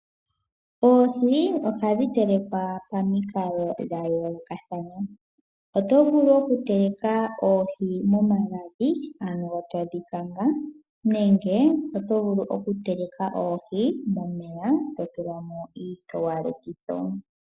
Oohi ohadhi telekwa pomikalo dha yoolokathana . Otovulu oku teleka oohi momagadhi ano todhi kanga nenge otovulu oku teleka oohi momeya totulamo iitowalekitho.